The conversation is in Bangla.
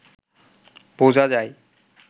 বোঝা যায়